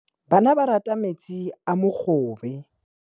Bana ba rata metsi a mogobe.